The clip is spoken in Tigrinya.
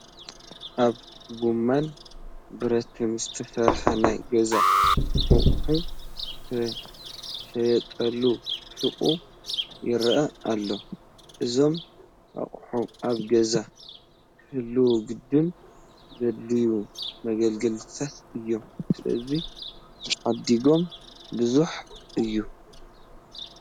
ካብ ጐማን ብረትን ዝተሰርሑ ናይ ገዛ ኣቑሑ ዝሽየጡሉ ሹቕ ይርአ ኣሎ፡፡ እዞም ኣቑሑ ኣብ ገዛ ክህልዉ ግድን ዘድልዩ መገልገልታት እዮም፡፡ ስለዚ ዓዳጊኦም ብዙሕ እዩ፡፡